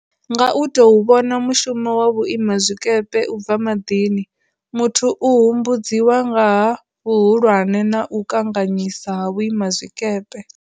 Nga u tou vhona mushumo wa vhuimazwikepe u bva maḓini, muthu u humbudziwa nga ha vhuhulwane na u kanganyisa ha vhuimazwikepe.